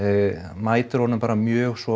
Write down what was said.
mætir honum bara mjög svo